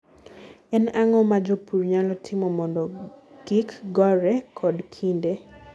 en ang'o ma jopur nyalo timo mondo gikgore kod kinde?